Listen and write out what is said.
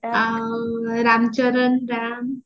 ଆଉ ରାମ ଚରଣ ରାମ୍